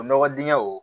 O nɔgɔ dingɛ o